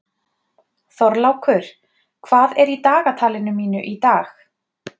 Þorlákur, hvað er í dagatalinu mínu í dag?